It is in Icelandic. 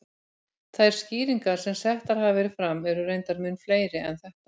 Þær skýringar sem settar hafa verið fram eru reyndar mun fleiri en þetta.